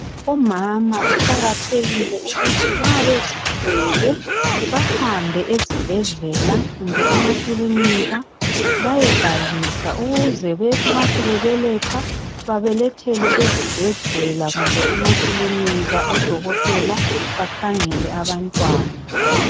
Umama kuqakathekile ukuthi nxa bezithwele bahambe ezibhedlela kumbe emakiliniki bayebhalisa. Ukuze nxa sebebeletha, babelethele ezibhedlela kumbe emakilinika odokotela bakhangele abantwana.